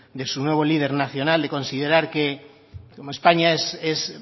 de su nuevo líder nacional de considerar que como españa es